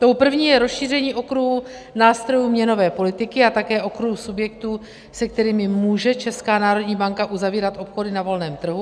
Tou první je rozšíření okruhu nástrojů měnové politiky a také okruhu subjektů, se kterými může Česká národní banka uzavírat obchody na volném trhu.